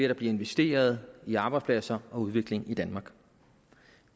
der bliver investeret i arbejdspladser og udvikling i danmark